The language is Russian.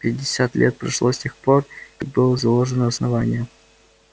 пятьдесят лет прошло с тех пор как было заложено основание